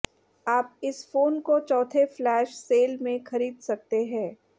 आप इस फोन को चौथे फ्लैश सेल में खरीद सकते हैं